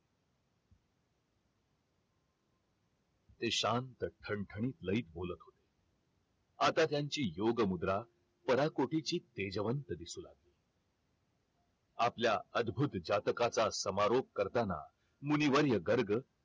ते शांत ठणठणीत बोलत होते आता त्यांची योग मुद्रा पराकोटीची तेजवंत दिसत होती आपल्या अद्भुत जातकाचा समारोप करतांना मुनी वर्य गर्ग